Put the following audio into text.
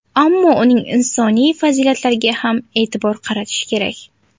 Ammo uning insoniy fazilatlariga ham e’tibor qaratish kerak.